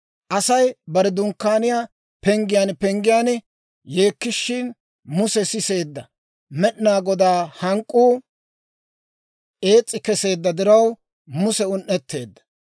Asay bare dunkkaaniyaa penggiyaan penggiyaan yeekkishin, Muse siseedda. Med'inaa Godaa hank'k'uu ees's'i keseedda diraw, Muse un"etteedda.